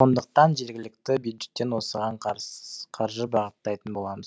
сондықтан жергілікті бюджеттен осыған қаржы бағыттайтын боламыз